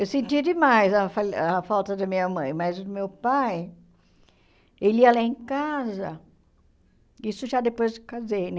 Eu sentia demais a fal a falta da minha mãe, mas o meu pai ele ia lá em casa, isso já depois que casei, né?